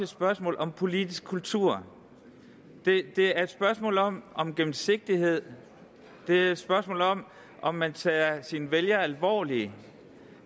spørgsmål om politisk kultur det er et spørgsmål om om gennemsigtighed det er et spørgsmål om om man tager sine vælgere alvorligt